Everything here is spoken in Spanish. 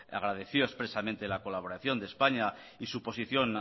agradeció expresamente la colaboración de españa y su posición